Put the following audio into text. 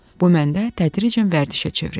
Bu məndə tədricən vərdişə çevrildi.